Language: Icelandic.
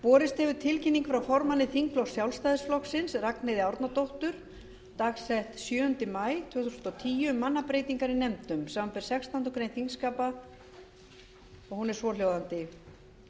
borist hefur tilkynning frá formanni þingflokks sjálfstæðisflokksins ragnheiði e árnadóttur dagsett sjöunda maí tvö þúsund og tíu um mannabreytingar í nefndum samanber sextándu grein þingskapa og hún er svohljóðandi